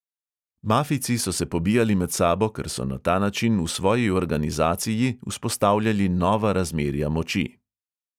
Mafijci so se pobijali med sabo, ker so na ta način v svoji organizaciji vzpostavljali nova razmerja moči.